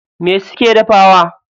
Me suke dafawa?